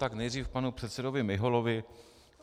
Tak nejdřív panu předsedovi Miholovi.